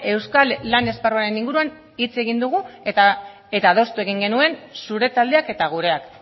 euskal lan esparruaren inguruan hitz egin dugu eta adostu egin genuen zure taldeak eta gureak